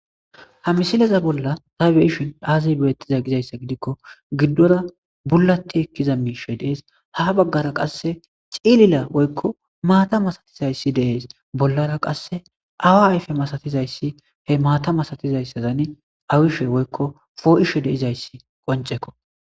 ha misileza bolla ta beishin aaziy beettiza gizayssa gidikko giddora bullatti ekkiza miishe dees ha baggara qasse cilila woykko maata masatizayssi dees bollara qasse awa ayfe masatizayssi he maata masatizayssazani awishe woykko foo7ishe deizayssi qoncekko